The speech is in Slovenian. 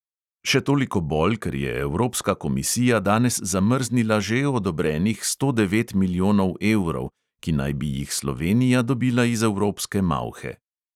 Še toliko bolj, ker je evropska komisija danes zamrznila že odobrenih sto devet milijonov evrov, ki naj bi jih slovenija dobila iz evropske malhe.